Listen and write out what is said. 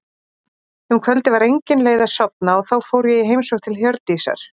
Um kvöldið var engin leið að sofna og þá fór ég í heimsókn til Hjördísar.